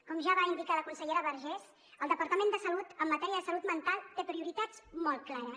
com ja va indicar la consellera vergés el departament de salut en matèria de salut mental té prioritats molt clares